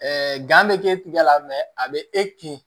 bɛ k'e tigɛ la a bɛ e kin